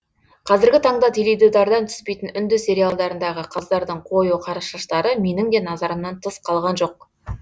қазіргі таңда теледидардан түспейтін үнді сериалдарындағы қыздардың қою қара шаштары менің де назарымнан тыс қалған жоқ